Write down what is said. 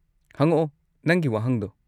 ꯍꯉꯛꯑꯣ, ꯅꯪꯒꯤ ꯋꯥꯍꯪꯗꯣ?